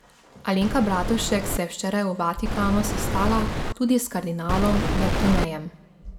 Alenka Bratušek se je včeraj v Vatikanu sestala tudi s kardinalom Bertonejem.